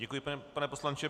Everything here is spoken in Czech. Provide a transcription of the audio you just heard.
Děkuji, pane poslanče.